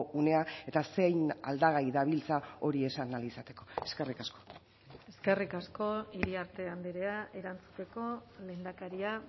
unea eta zein aldagai dabiltza hori esan ahal izateko eskerrik asko eskerrik asko iriarte andrea erantzuteko lehendakaria